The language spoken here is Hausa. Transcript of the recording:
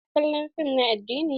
Su na kallon fim na addini.